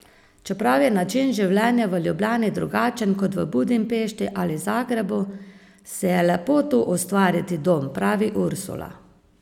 Čeprav je način življenja v Ljubljani drugačen kot v Budimpešti ali Zagrebu, si je lepo tu ustvariti dom, pravi Ursula.